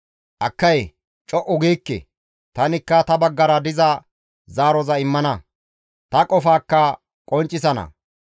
Akkay! Co7u giikke; tanikka ta baggara diza zaaroza immana; ta qofaakka qonccisana.